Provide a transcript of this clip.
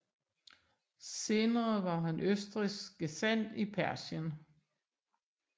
Senere var han østrigsk gesandt i Persien